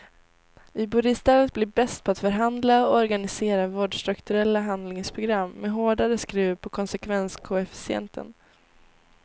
Vi borde istället bli bäst på att förhandla och organisera vårdstrukturella handlingsprogram med hårdare skruv på konsekvenskoefficienten.